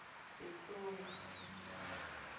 setsonga